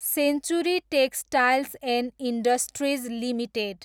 century textiles and industries limited